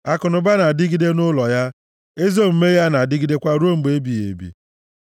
Akụnụba na-adịgide nʼụlọ ya; ezi omume ya na-adịgidekwa ruo mgbe ebighị ebi.